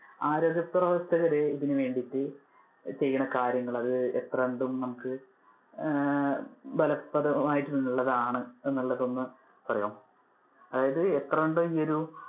ആരോഗ്യപ്രവർത്തകര് ഇതിനു വേണ്ടിട്ട് ചെയ്യുന്ന കാര്യങ്ങള് അത് എത്രത്തോളം നമുക്ക് ആഹ് ഫലപ്രദം ആയിട്ട് ഉള്ളതാണ് എന്നുള്ളത് ഒന്ന് പറയോ. അതായതു എത്രണ്ട് ഒരു